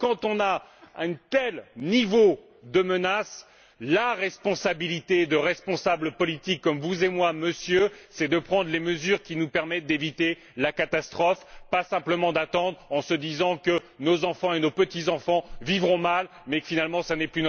Donc, face à un tel niveau de menace, la responsabilité de responsables politiques comme vous et moi, Monsieur, c'est de prendre les mesures qui nous permettent d'éviter la catastrophe, pas simplement d'attendre en se disant que nos enfants et nos petits enfants vivront mal, mais que finalement ce n'est plus de notre responsabilité.